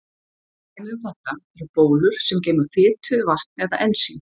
Dæmi um þetta eru bólur sem geyma fitu, vatn eða ensím.